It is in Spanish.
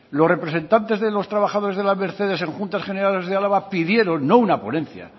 los representantes de los trabajadores de la mercedes en juntas generales de álava pidieron no una ponencia